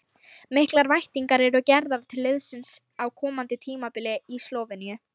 Miklar væntingar eru gerðar til liðsins á komandi tímabili í Slóveníu.